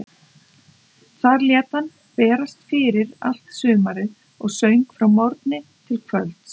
Þar lét hann fyrir berast allt sumarið og söng frá morgni til kvölds.